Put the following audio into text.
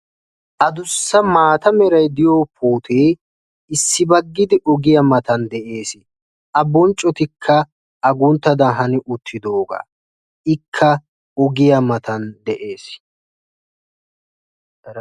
Adussa maata meray de'iyoo puutee issibaggidi ogiyaa doonan de'ees. a bonccotikka agunttaagadan hani uttidoogaa ikka ogiyaa matan de'ees.